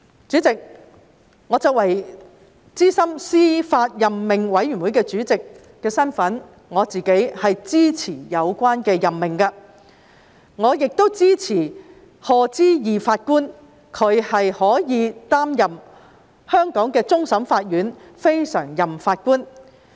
主席，我作為小組委員會主席，我是支持有關任命的，我亦支持賀知義法官擔任香港終審法院非常任法官。